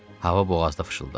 Hava boğazda fışıldadı.